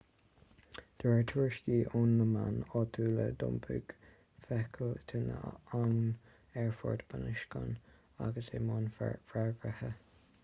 de réir tuairiscí ó na meáin áitiúla d'iompaigh feithicil tine an aerfoirt bunoscionn agus í i mbun freagartha